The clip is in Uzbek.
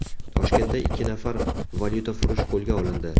Toshkentda ikki nafar valyutafurush qo‘lga olindi.